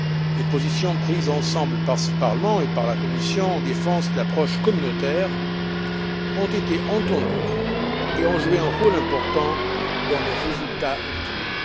Les positions prises ensemble par ce Parlement et par la Commission en défense de l'approche communautaire ont été entendues et ont joué un rôle important dans les résultats obtenus.